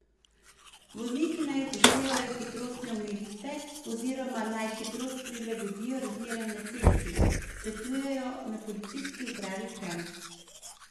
Vozniki naj upoštevajo hitrostne omejitve oziroma naj hitrost prilagodijo razmeram na cesti, svetujejo na Policijski upravi Kranj.